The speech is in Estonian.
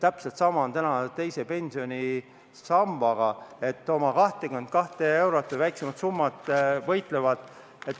Täpselt samamoodi on täna teise pensionisambaga, oma 22 euro või väiksema summa eest võideldakse.